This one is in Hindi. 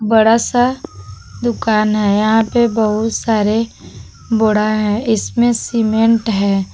बड़ा सा दुकान है यहां पे बहुत सारे बोड़ा है इसमें सीमेंट है।